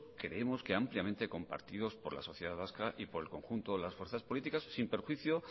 creemos que ampliamente compartidos por la sociedad vasca y por el conjunto de las fuerzas políticas sin perjuicio